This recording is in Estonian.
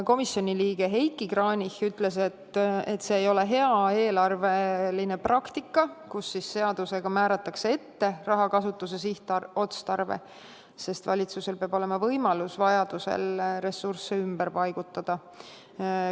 Komisjoni liige Heiki Kranichi ütles, et see ei ole hea eelarveline praktika, kui seadusega määratakse ette rahakasutuse sihtotstarve, sest valitsusel peab olema võimalus vajaduse korral ressursse ümber paigutada.